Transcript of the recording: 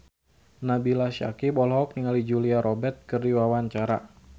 Nabila Syakieb olohok ningali Julia Robert keur diwawancara